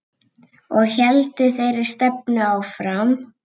Og héldum þeirri stefnu áfram.